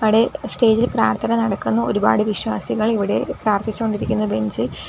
ഇവിടെ സ്റ്റേജ് ഇൽ പ്രാർത്ഥന നടക്കുന്നു ഒരുപാട് വിശ്വാസികൾ ഇവിടെ പ്രാർത്ഥിച്ച് കൊണ്ടിരിക്കുന്നു ബെഞ്ചിൽ .